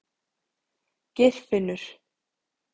Geirfinnur